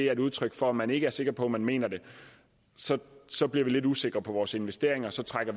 er et udtryk for at man ikke er sikker på at man mener det så så bliver vi lidt usikre på vores investeringer og så trækker